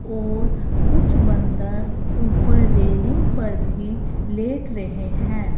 और कुछ बंदर ऊपर रेलिंग पर भी लेट रहे हैं।